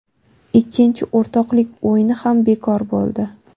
Ikkinchi o‘rtoqlik o‘yini ham bekor bo‘ldi.